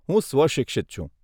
હું સ્વશિક્ષિત છું.